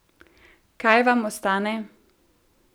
Kaj vam ostane?